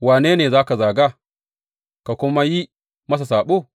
Wane ne ka zaga, ka kuma yi masa saɓo?